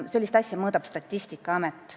Sellist asja mõõdab Statistikaamet.